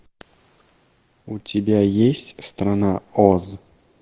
у тебя есть страна оз